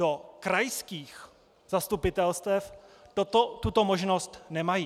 Do krajských zastupitelstev tuto možnost nemají.